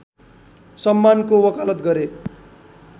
सम्मानको वकालत गरे